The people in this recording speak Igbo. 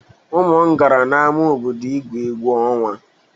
Ụmụ m gara n'ama obodo ígwu egwu ọnwa.